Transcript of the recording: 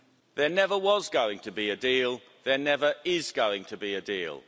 There never was going to be a deal, there never is going to be a deal.